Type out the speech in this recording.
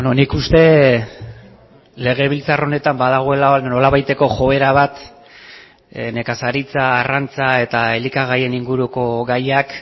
nik uste legebiltzar honetan badagoela nolabaiteko joera bat nekazaritza arrantza eta elikagaien inguruko gaiak